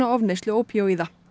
ofneyslu ópíóíða